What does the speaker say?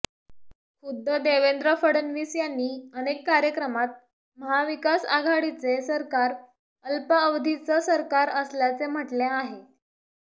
खुद्द देवेंद्र फडणवीस यांनी अनेक कार्यक्रमात महाविकास आघाडीचे सरकार अल्पअवधीचं सरकार असल्याचे म्हटले आहे